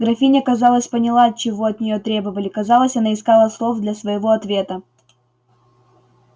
графиня казалось поняла чего от нее требовали казалось она искала слов для своего ответа